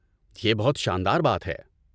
یہ بہت شاندار بات ہے!